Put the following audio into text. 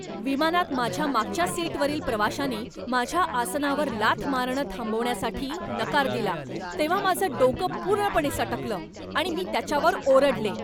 विमानात माझ्या मागच्या सीटवरील प्रवाशानी माझ्या आसनावर लाथ मारणं थांबवण्यासाठी नकार दिला तेव्हा माझं डोकं पूर्णपणे सटकलं आणि मी त्याच्यावर ओरडले.